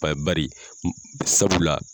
bari sabula